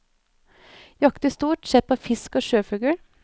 Jakter stort sett på fisk og sjøfugl.